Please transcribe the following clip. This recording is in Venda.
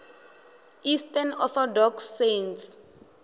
eastern orthodox saints